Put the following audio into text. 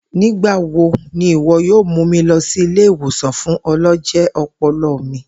Nigbawo ni iwọ yoo mu mi lọ si ile-iwosan fun ọlọjẹ ọpọlọ mi.